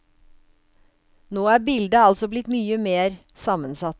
Nå er bildet altså blitt mye mer sammensatt.